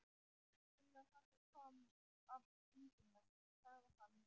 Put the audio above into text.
Þegar hann kom af fundinum sagði hann mér að